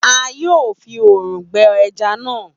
A yoo fi òrùn gbe ẹja na